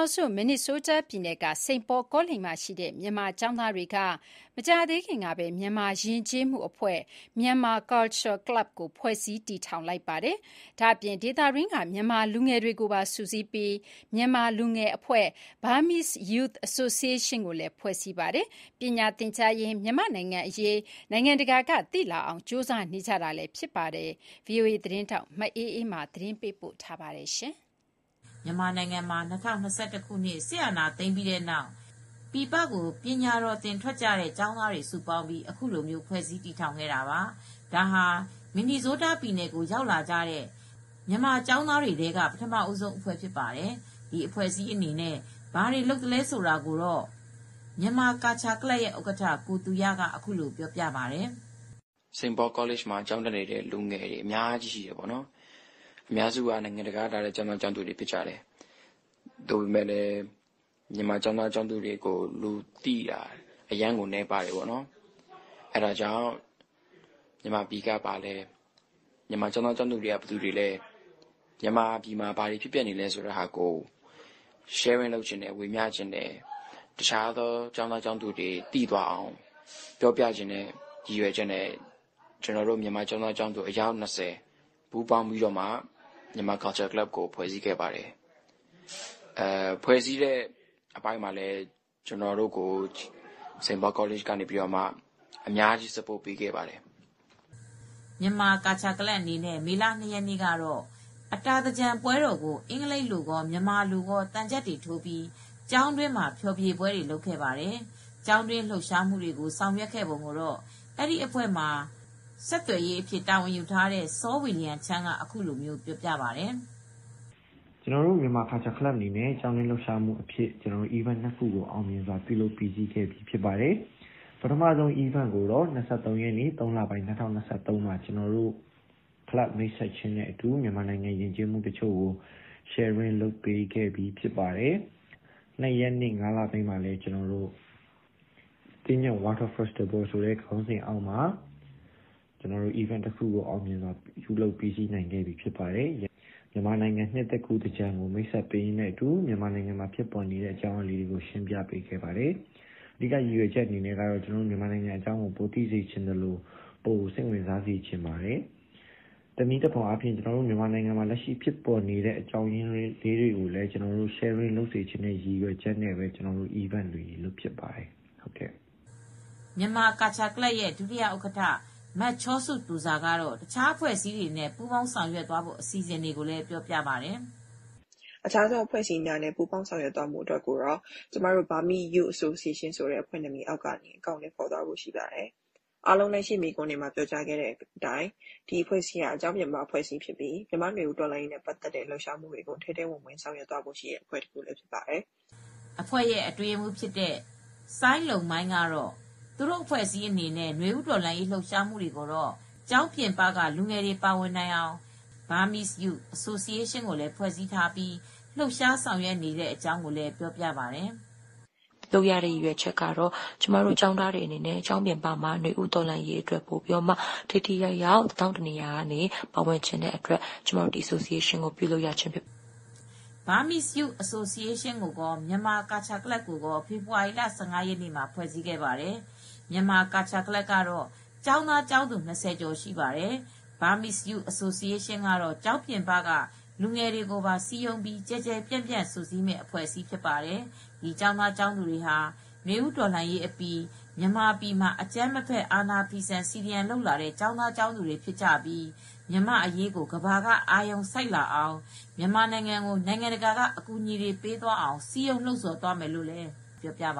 င်ငံ မင်နီဇိုးတားပြည်နယ်က စိန်ပေါကောလိပ်မှာရှိတဲ့ မြန်မာကျောင်းသားတွေက မကြာသေးခင်ကပဲ မြန်မာယဉ်ကျေးမှုအဖွဲ့ - Myanmar Culture Club ကို ဖွဲ့စည်း တည်ထောင်လိုက်ပါတယ်။ ဒါ့အပြင် ဒေသတွင်းက မြန်မာလူငယ်တွေကိုပါ စုစည်းပြီး မြန်မာလူငယ်အဖွဲ့ Burmese Youth Association ကိုလည်း ဖွဲ့စည်းခဲ့တာပါ။ ပညာသင်ကြားရင်း မြန်မာနိုင်ငံ့အရေး နိုင်ငံတကာက သိလာအောင် ကြိုးစားနေကြတာ ဖြစ်ပါတယ်။ ဗီအိုအေသတင်းထောက် မအေးအေးမာ သတင်းပေးပို့ထားတာကို တင်ပြပေးမှာပါ။ မြန်မာနိုင်ငံမှာ ၂၀၂၁ ခုနှစ် စစ်အာဏာသိမ်းပြီးတဲ့နောက် ပြည်ပကို ပညာသင်ဖို့ လာရောက်ခဲ့တဲ့ ကျောင်းသူကျောင်းသားတွေ စုပေါင်းပြီး အခုလိုဖွဲ့စည်းတည်ထောင်ခဲ့တာပါ။ ဒါဟာ မင်နီဇိုးတားပြည်နယ်ကို ရောက်လာတဲ့ မြန်မာပညာတော်သင် ကျောင်းသားတွေထဲမှာတော့ ပထမဦးဆုံး အဖွဲ့ဖြစ်ပါတယ်။ ဒီအဖွဲ့အစည်းအနေနဲ့ ဘာတွေလုပ်သလဲဆိုတာကိုတော့ Myanmar Culture Club ရဲ့ဥက္ကဌ ကိုသူရက အခုလိုပြောပြပါတယ်။ " Saint Paul College မှာ ကျောင်းတက်နေတဲ့ ကျောင်းသားတွေ အများကြီး ရှိပါတယ်။ အများစုက နိုင်ငံတကာက ကျောင်းသားကျောင်းသူတွေ ဖြစ်တယ်။ မြန်မာပြည်က ကျောင်းသားကျောင်းသူတွေကိုတော့ လူသိနည်းကြပါတယ်၊ အဲဒါကြောင့် မြန်မာပြည်ဆိုတာ ဘာလဲ ၊ မြန်မာကျောင်းသားတွေဆိုတာ ဘယ်သူတွေလဲ ၊ မြန်မာပြည်မှာ ဘာတွေဖြစ်ပျက်နေလဲဆိုတာကို ဝေမျှချင်တယ်။ တခြား ကျောင်းသူကျောင်းသားတွေ သိအောင်ပြောပြချင်တဲ့ ရည်ရွယ်ချက်နဲ့ ကျနော်တို့ မြန်မာကျောင်းသား အယောက်၂၀ နဲ့ Myanmar Culture Club ကို ဖွဲ့စည်းခဲ့ပါတယ်။ ဖွဲ့စည်းတုန်းကလည်း Saint Paul Collegeက ကျနော်တို့ကို အများကြီး အကူညီပေးခဲ့ပါတယ်။ " Myanmar Culture Club အနေနဲ့ မေလ၂ ရက်နေ့က အတာသင်္ကြန်ပွဲတော်ကို အင်္ဂလိပ်လိုကော မြန်မာလိုပါ သံချပ်တွေထိုးပြီး ကျောင်းတွင်း ဖျော်ဖြေပွဲတွေ လုပ်ခဲ့ပါတယ် ။ ကျောင်းတွင်းလှုပ်ရှားမှုတွေ ဆောင်ရွက်ခဲ့ပုံကိုတော့ အဲဒီအဖွဲ့မှာ communicator အဖြစ် တာဝန်ယူထားတဲ့ Saw William Chan ကအခုလို ပြောပြပါတယ်။ " ကျနော်တို့ကတော့ Myanmar Culture Clubအနေနဲ့ ကတော့ ပထမဆုံးအနေနဲ့ ၂၃ ရက်နေ့ ၃ လပိုင်း ၂၀၂၃ မှာတော့ ကျနော်တို့ ကလပ်ဖွဲစည်းတာကို မိတ်ဆက်ပေးပါတယ်၊ ၂ ရက်နေ့ ၅ လပိုင်းမှာလည်း သင်္ကြန်ပွဲကို ကျင်းပခဲ့တယ်။ မြန်မာနှစ်သစ်ကူး သင်္ကြန်ကို မိတ်ဆက်ပေးပြီးတော့ ကျနော်တို့က မြန်မာနိုင်ငံအကြောင်းတွေကို ပြောပြခဲ့ပါတယ်။ တနည်းအားဖြင့်တော့ ကျနော်တို့ မြန်မာပြည်က အခြေအနေတွေကို ပြန်ပြီး ဝေမျှချင်တာကြောင့်ဖြစ်ပါတယ်။ " Myanmar Culture Club ရဲ့ ဒုဥက္ကဌ မချောစုသူဇာ ကတော့ တခြားအဖွဲ့အစည်းတွေနဲ့ ပူးပေါင်းသွားဖို့ အစီစဉ်တွေကို လည်းပြောပြပါတယ်။ " တခြားအဖွဲ့အစည်းတွေနဲ့ ပူးပေါင်းဆောင်ရွက်သွားဖို့ကိုကတော့ ကျမတို့ Burmese Youth Association အောက်က နေ အကောင်အထည် ဖော်ဖို့ရှိတယ်။ တခြား နွေဦးတော်လှန်ရေး လှုပ်ရှားမူတွေကို ထဲထဲဝင်ဝင် ဆောင်ရွက်သွားဖို့ရှိပါတယ်။ " အဖွဲ့ရဲ့ အတွင်းရေးမှူးဖြစ်တဲ့ Seng Lon Mai ကတော့ သူတို့ အဖွဲ့အစည်းအနေနဲ့ နွေဦးတော်လှန်ရေး လှုပ်ရှားမူတွေကို ကျောင်းပြင်ပက လူငယ်တွေ ပါဝင်နိုင်အောင် Burmese Youth Association ကိုလည်း ဖွဲ့စည်းထားပြီး လှုပ်ရှား ဆောင်ရွက်နေတဲ့အကြောင်း ပြောပြပါတယ်။ " ကျမတို့ ကျောင်းသားတွေအနေနဲ့ ကျောင်းပြင်ပမှာတော့ နွေဦးတော်လှန်ရေးအတွက် ထိထိရောက်ရောက် ပါဝင်ချင်တဲ့အတွက် အဲဒီ Association ကို ပြုလုပ်ရခြင်း ဖြစ်ပါတယ်။ " Burmese Youth Association ကိုကော Myanmar Culture Club ကိုကော ဖေဖေါ်ဝါရီလ ၁၅ ရက်နေ့မှာ ဖွဲ့စည်းခဲ့ပါတယ်။ Myanmar Culture Club ကတော့ ကျောင်းသားကျောင်းသူ ၂၀ ကျော် ရှိပါတယ်။ Burmese Youth Association ကတော့ ကျောင်းပြင်ပက လူငယ်တွေကိုပါ စည်းရုံးပြီး ကျယ်ကျယ်ပြန့်ပြန့် စုစည်းမယ့် အဖွဲ့အစည်းဖြစ်ပါတယ်။ ဒီကျောင်းသားကျောင်းသူတွေဟာ နွေဦးတော်လှန်ရေးအပြီး မြန်မာပြည်မှာ အကြမ်းမဖက် အာဏာဖီဆန် စီဒီအမ်လုပ်လာတဲ့ ကျောင်းသားကျောင်းသူတွေဖြစ်ပြီး မြန်မာအရေးကို ကမ္ဘာက ပိုအာရုံစိုက်လာအောင် မြန်မာကို နိုင်ငံတကာက အကူညီတွေပေးအောင် စည်းရုံးလှုံဆော်မှုတွေ လုပ်သွားမယ်လို့လည်း ပြောဆိုပ